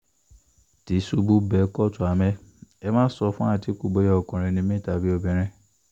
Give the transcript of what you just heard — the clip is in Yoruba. tìṣubù bẹ́ kóòtù àmẹ́ ẹ má sọ fàtìkù bóyá ọkùnrin ni mí tàbí obìnrin